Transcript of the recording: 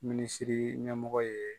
Minsiri ɲɛmɔgɔ ye.